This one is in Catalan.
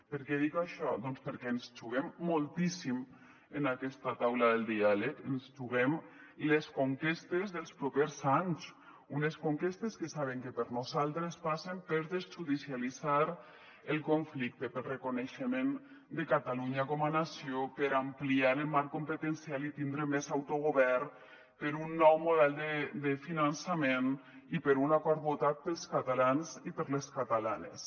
per què dic això doncs perquè ens juguem moltíssim en aquesta taula del diàleg ens juguem les conquestes dels propers anys unes conquestes que saben que per nosaltres passen per desjudicialitzar el conflicte pel reconeixement de catalunya com a nació per ampliar el marc competencial i tindre més autogovern per un nou model de finançament i per un acord votat pels catalans i per les catalanes